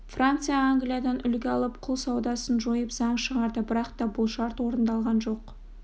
франция англиядан үлгі алып құл саудасын жойып заң шығарды бірақ та бұл шарт орындалған жоқ